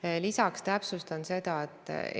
Sellega oli tükk aega segadust ja ei saa eitada, et see on olnud.